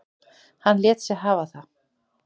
Hann lét sig hafa það.